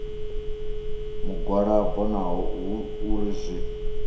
mugwalabo naho hu uri zwi